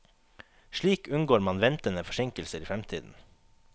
Slik unngår man ventende forsinkelser i fremtiden.